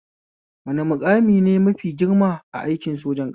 Wane maƙami ne mafi girma a aikin sojan ƙasa?